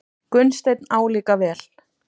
Gunnsteinn álíka vel.